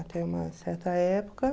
Até uma certa época.